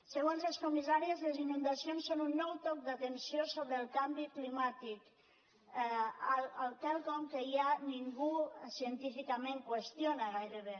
segons les comissàries les inundacions són un nou toc d’atenció sobre el canvi climàtic quelcom que ja ningú científicament qüestiona gairebé